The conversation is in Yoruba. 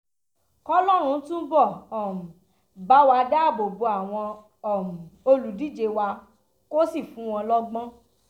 kọ́lọ́run túbọ̀ um bá wa dáàbò bo àwọn um olùdíje wa kó sì fún wọn lọ́gbọ́n